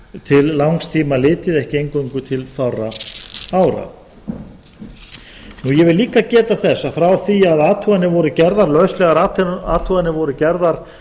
til langs tíma litið ekki eingöngu til fárra ára ég vil líka geta þess að frá því að lauslegar athuganir voru gerðar